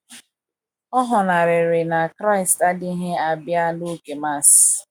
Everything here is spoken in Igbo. ọ ghonariri na Kraịst adịghị abịa n’oge Mass.